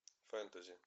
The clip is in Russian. фэнтези